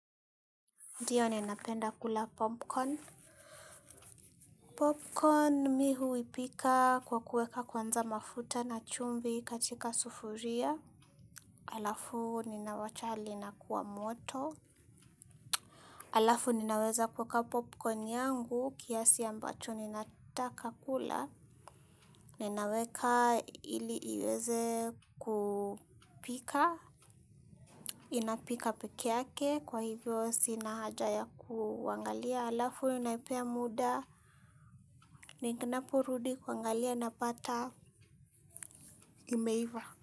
Ndiyo ninapenda kula popcorn. Popcorn mi huipika kwa kuweka kwanza mafuta na chumvi katika sufuria. Alafu ninawacha lina kuwa moto. Alafu ninaweza kuweka popcorn yangu kiasi ambacho ninataka kula. Ninaweka ili iweze kupika. Inapika pekeake kwa hivyo sina haja ya kuangalia. Alafu naipea muda ninaporudi kuangalia napata imeiva.